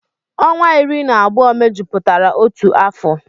Ọnwa iri na abụọ mejupụtara otu afọ